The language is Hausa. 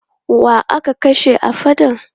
Wa aka kashe a faɗan?